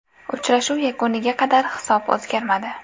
Uchrashuv yakuniga qadar hisob o‘zgarmadi.